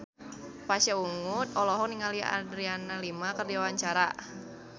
Pasha Ungu olohok ningali Adriana Lima keur diwawancara